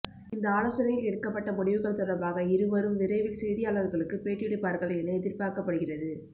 இந்த ஆலோசனையில் எடுக்கப்பட்ட முடிவுகள் தொடர்பாக இருவரும் விரைவில் செய்தியாளர்களுக்கு பேட்டியளிப்பார்கள் என எதிர்பார்க்கப்படுகிறது